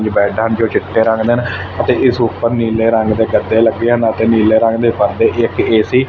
ਜੋ ਬੈਡ ਹਨ ਜੋ ਚਿੱਟੇ ਰੰਗ ਦੇ ਹਨ ਤੇ ਇਸ ਉੱਪਰ ਨੀਲੇ ਰੰਗ ਦੇ ਗੱਦੇ ਲੱਗੇ ਹਨ ਅਤੇ ਨੀਲੇ ਰੰਗ ਦੇ ਪਰਦੇ ਇੱਕ ਏਸੀ --